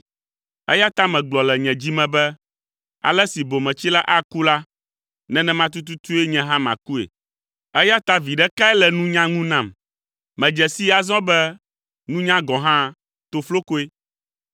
Eya ta megblɔ le nye dzi me be ale si bometsila aku la, nenema tututue nye hã makue, eya ta viɖe kae le nunya ŋu nam? Medze sii azɔ be nunya gɔ̃ hã, toflokoe;